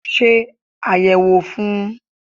Ṣe àyẹ̀wò fún un